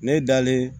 Ne dalen